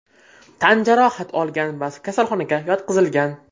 tan jarohat olgan va kasalxonaga yotqizilgan.